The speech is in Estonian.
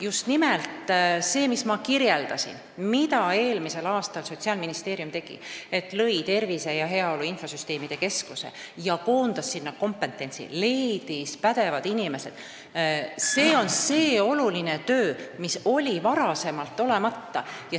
Just nimelt see, mida ma enne kirjeldasin ja mida Sotsiaalministeerium eelmisel aastal tegi – lõi Tervise ja Heaolu Infosüsteemide Keskuse ning koondas sinna kompetentsi, leidis pädevad inimesed –, on see oluline töö, mis oli seni tegemata.